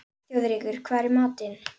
Þjóðrekur, hvað er í matinn?